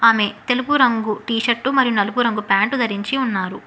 ఆమె తెలుపు రంగు టీషర్టు మరియు నలుపు రంగు ప్యాంటు ధరించి ఉన్నారు.